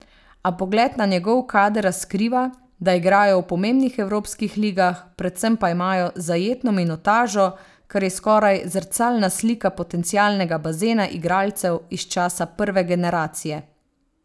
A pogled na njegov kader razkriva, da igrajo v pomembnih evropskih ligah, predvsem pa imajo zajetno minutažo, kar je skoraj zrcalna slika potencialnega bazena igralcev iz časa prve generacije.